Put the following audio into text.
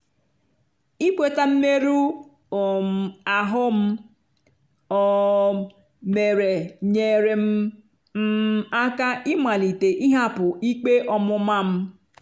ịkweta mmerụ um ahụ m um mere nyeere m m aka ịmalite ịhapụ ikpe ọmụma m.